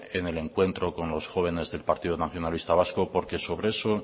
en el encuentro con los jóvenes del partido nacionalista vasco porque sobre eso